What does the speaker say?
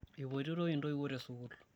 epotitoi intoiwuo te sukuul